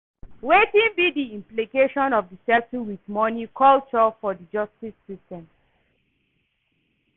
Wetin be di implication of di settle with money culture for di justice system?